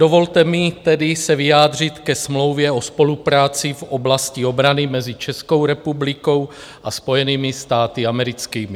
Dovolte mi tedy se vyjádřit ke Smlouvě o spolupráci v oblasti obrany mezi Českou republikou a Spojenými státy americkými.